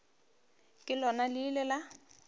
ka lona le ile la